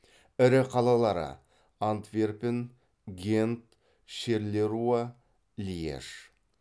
ірі қалалары антверпен гент шерлеруа льеж